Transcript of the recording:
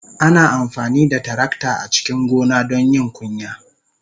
Ana amfani da tarakta a cikin gona don yin kunya.